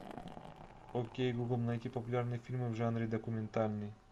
окей гугл найти популярные фильмы в жанре документальный